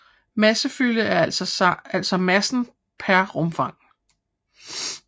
Massefylde er altså massen per rumfang